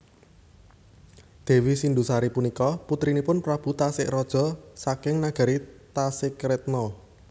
Dewi Sindusari punika putrinipun Prabu Tasikraja saking nagari Tasikretna